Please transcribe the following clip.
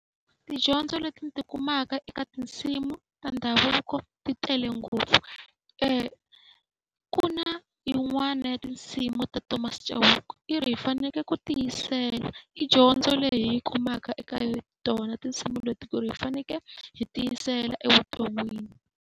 Tidyondzo leti ni ti kumaka eka tinsimu ta ndhavuko ti tele ngopfu. Ku na yin'wana ya tinsimu ta Thomas Chauke i ri hi fanekele ku tiyisela. I dyondzo leyi hi yi kumaka eka tona tinsimu leti, ku ri hi fanekele hi tiyisela evuton'wini.